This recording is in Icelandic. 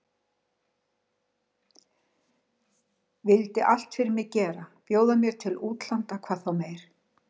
Vildu allt fyrir mig gera, bjóða mér til útlanda hvað þá meir.